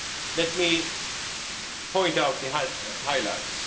Let me point out the highlights.